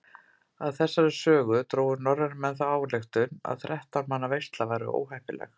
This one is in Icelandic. Af þessari sögu drógu norrænir menn þá ályktun að þrettán manna veisla væri óheppileg.